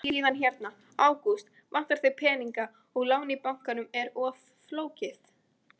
Og síðan hérna: Ágúst, vantar þig peninga og lán í bankanum er of flókið?